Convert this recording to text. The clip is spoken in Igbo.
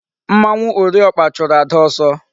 Mmanwu ori okpa churu Ada oso